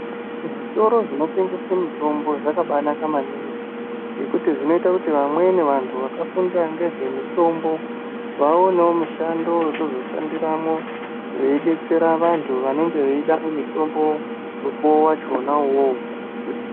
Zvitoro zvinotengesa mitombo zvakabanaka maningi ngekuti zvinoita kuti vamweni vantu vakafundira ngezvemutombo vaonewo mushando wekuzoshandiramwo veidetsera vantu vanenge veida mutombo mukuwo wachona uwowo.